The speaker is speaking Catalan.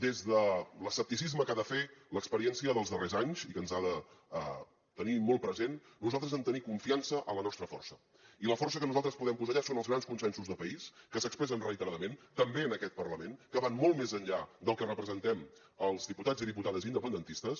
des de l’escepticisme que ha de fer l’experiència dels darrers anys i que ens ha de tenir molt present nosaltres hem de tenir confiança en la nostra força i la força que nosaltres podem posar allà són els grans consensos de país que s’expressen reiteradament també en aquest parlament que van molt més enllà del que representem els diputats i diputades independentistes